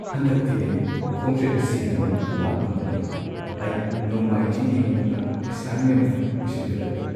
ꯍꯟꯗꯛꯇꯤ ꯑꯩ ꯈꯣꯡꯆꯠ ꯑꯁꯤꯒꯤꯗꯃꯛ ꯂꯥꯛꯄ ꯉꯝꯂꯔꯣꯏ꯫ ꯑꯩ ꯅꯣꯡꯃꯥꯏꯖꯤꯡꯒꯤ ꯃꯅꯨꯡꯗ ꯑꯦꯁꯥꯏꯟꯃꯦꯟꯠ ꯑꯃ ꯄꯤꯁꯤꯟꯒꯗꯕꯅꯤ꯫